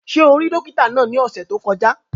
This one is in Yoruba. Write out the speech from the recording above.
Ṣé o rí dókítà náà ní ọ̀sẹ̀ tó kọjá?